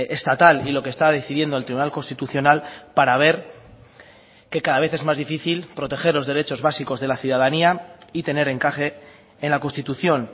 estatal y lo que está decidiendo el tribunal constitucional para ver que cada vez es más difícil proteger los derechos básicos de la ciudadanía y tener encaje en la constitución